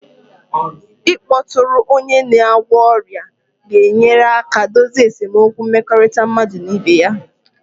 Ịkpọtụrụ onye na-agwọ ọrịa ga-enyere aka dozie esemokwu mmekọrịta mmadụ na ibe ya